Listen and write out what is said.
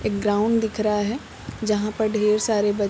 एक ग्राउंड दिख रहा है जहाँ पर ढ़ेर सरे बच्च --